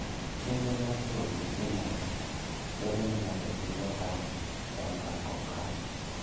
Chenro mar choko chiemogo dwaro ni ng'ato obed motang' e okang' ka okang'.